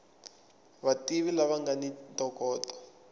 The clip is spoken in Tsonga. vativi lava nga ni ntokoto